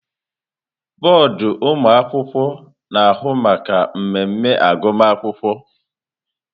Bọọdụ ọmụmụ akwụkwọ na-ahụ maka mmemme agụmakwụkwọ.